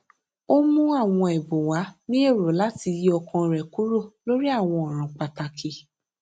ó mú àwọn èbùn wá ní èrò láti yí ọkàn rè kúrò lórí àwọn òràn pàtàkì